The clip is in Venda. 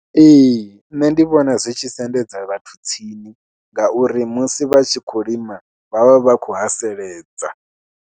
Ee nṋe ndi vhona zwi tshi sendedza vhathu tsini ngauri musi vha tshi khou lima vha vha vha khou haseledza.